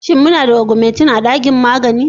Shin muna da augmetin a ɗakin magani?